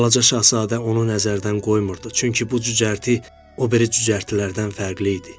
Balaca şahzadə onu nəzərdən qoymurdu, çünki bu cücərti o biri cücərtilərdən fərqli idi.